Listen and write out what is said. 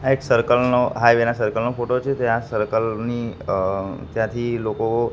આ એક સર્કલ નો હાઈવે ના સર્કલ નો ફોટો છે જ્યાં સર્કલ ની અ જ્યાંથી લોકો--